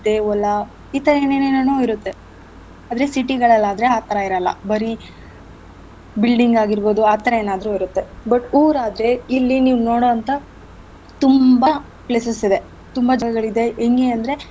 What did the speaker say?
ಹೊಲ ಇತ್ತಾಗಿನ್ನೇನ್ನೇನೋ ಇರತ್ತೆ ಆದ್ರೆ city ಗಳಲ್ ಆದ್ರೆ ಆತರ ಇರಲ್ಲ ಬರೀ building ಆಗಿರ್ಬೋದು ಆತರ ಏನಾದ್ರು ಇರತ್ತೆ but ಊರಾದ್ರೆ ಇಲ್ಲಿ ನೀವ್ ನೋಡೋಂಥ ತುಂಬಾ places ಇವೆ ತುಂಬಾ ಜಾಗಗಳಿದೆ ಹೆಂಗೆ ಅಂದ್ರೆ.